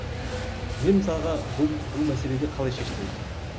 мен мысалға бұл бұл мәселеде қалай шештім өзіме